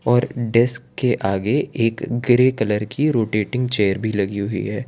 और डेस्क के आगे एक ग्रे कलर की रोटेटिंग चेयर भी लगी हुई है।